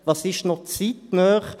Was ist noch zeitnah?